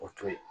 O to ye